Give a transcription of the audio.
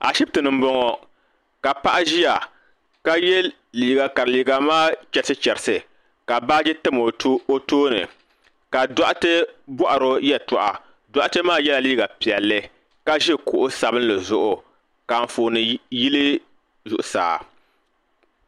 Ashibiti ni m-bɔŋɔ ka paɣa ʒiya ka ye liiga ka liiga maa chɛrisi chɛrisi ka baaji tam o tooni ka dɔɣite bɔhiri o yɛltɔɣa doɣite maa yela liiga piɛlli ka ʒi kuɣ'sabinli zuɣu ka anfooni yili zuɣusaa.